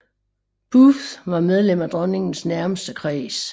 Booth var medlem af dronningens nærmeste kreds